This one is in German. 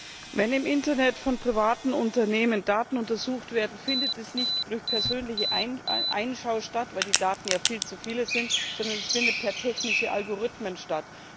Wenn im Internet von Unternehmen Daten untersucht werden, findet das nicht durch persönliche Einschau statt, weil die Daten ja viel zu viele sind, sondern es findet per technischen Algorithmen statt.